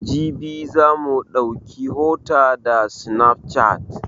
Jibi za mu ɗauki hota da sinafcat